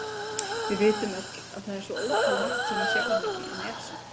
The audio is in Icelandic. Við vitum öll að það er svo ótalmargt sem við sjáum ekki en er samt.